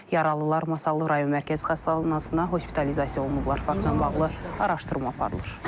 Yaralılar Masallı rayon mərkəzi xəstəxanasına hospitalizasiya olunublar, faktla bağlı araşdırma aparılır.